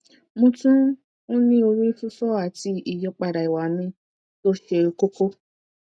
mo tún n ní ori fifo àti ìyípadà ìwà mi tó ṣe kókó